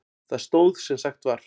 Það stóð sem sagt var.